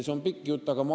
See on pikk jutt.